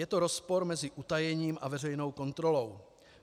Je to rozpor mezi utajením a veřejnou kontrolou.